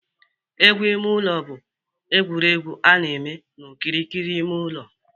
Egwu ime ụlọ bụ egwuregwu a na-eme n'okirikiri ime ụlọ